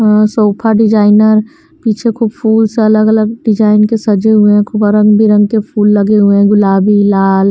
Sofa designer पीछे को फूल से अलग अलग डिजाइन के सजे हुए हैं। खूब रंग बिरंगे के फूल लगे हुए गुलाबी लाल--